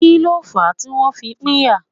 Kíló fà tí wọ́n fi pínyà?